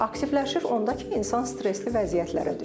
Aktivləşir onda ki, insan stresli vəziyyətlərə düşür.